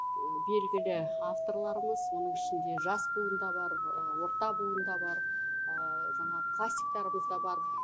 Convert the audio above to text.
белгілі авторларымыз оның ішінде жас буын да бар орта буын да бар жаңағы классиктарымыз да бар